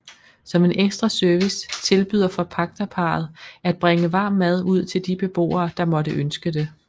Som en ekstra service tilbyder forpagterparret at bringe varm mad ud til de beboere der måtte ønske det